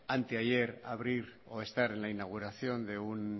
ante ayer abrir o estar en la inauguración de un